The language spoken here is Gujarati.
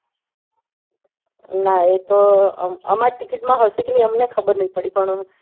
નાં એ તો અમાર ticket માં હશે કે નહિ અમને ખબર નહિ પડી પણ એવી